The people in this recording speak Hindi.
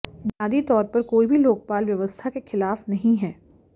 बुनियादी तौर पर कोई भी लोकपाल व्यवस्था के खिलाफ नहीं है